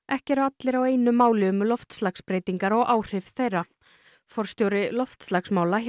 ekki eru allir á einu máli um loftslagsbreytingar og áhrif þeirra forstjóri loftslagsmála